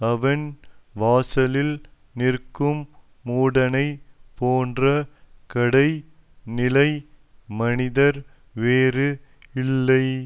அவன் வாசலில் நிற்கும் மூடனைப் போன்ற கடை நிலை மனிதர் வேறு இல்லை